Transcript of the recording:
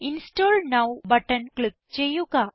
install now button click ചെയ്യുക